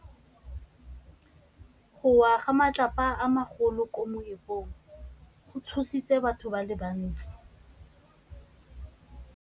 Go wa ga matlapa a magolo ko moepong go tshositse batho ba le bantsi.